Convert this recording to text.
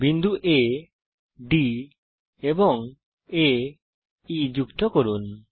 বিন্দু আ D এবং আ E কে যুক্ত করুন